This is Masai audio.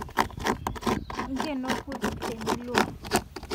Ng'eno nkutuk tinilwua